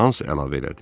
Hans əlavə elədi.